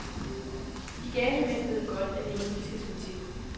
De gale mænd ved godt, at det er nu, de skal slå til.